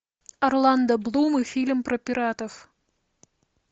орландо блум и фильм про пиратов